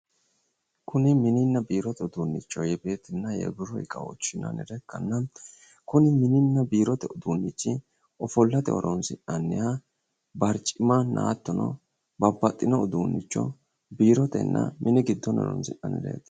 kuni mininna biirote uduunnicho yebeetinna yebiiro iqawoochi yinannire ikkanna kuni mininna biirote uduunnichi ofollate horoonsi'nanniha barcimanna hattono babbaxxino uduunnicho biirotenna mini giddono horoonsi'nanireeti.